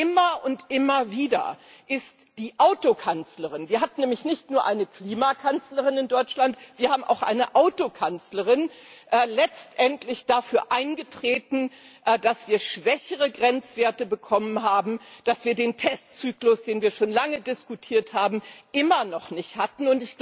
Immer und immer wieder ist die Autokanzlerin wir haben nämlich nicht nur eine Klimakanzlerin in Deutschland, wir haben auch eine Autokanzlerin letztendlich dafür eingetreten, dass wir niedrigere Grenzwerte bekommen haben, dass wir den Testzyklus, den wir schon lange diskutiert haben, immer noch nicht hatten.